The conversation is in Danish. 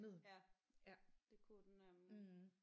Ja det kunne den nemlig